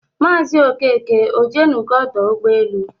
Mazi Okeke ojenugo ọdọ ụgbọelu?